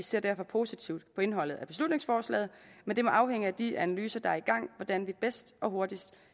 ser derfor positivt på indholdet af beslutningsforslaget men det må afhænge af de analyser der er i gang hvordan vi bedst og hurtigst